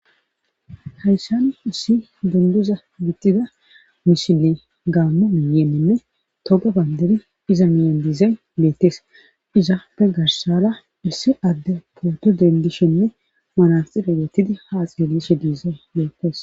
Hayssan issi dunguza bittida misile gaamo miyeeenne toga banderi iza miyan diizay meettees izaape garsala issi adde poddo dendishenne malanxirigetidi ha axillishe diiza meetees.